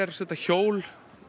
hjól